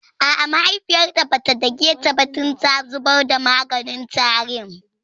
A'a mahaifiyarta bata dake ta ba dan ta zubar da maganin tarin